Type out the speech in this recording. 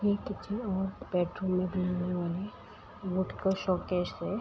ये किसी और के बेडरूम शोकेस है।